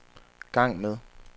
gang med